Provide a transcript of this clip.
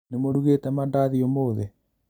Nĩmũrugĩte mandathi ũmũthĩ?